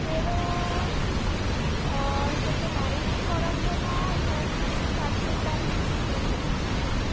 যেরম ধর তোকে marinate করার জন্য ধর তুই চারশো গ্রাম chicken নিলি